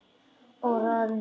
Og roðna.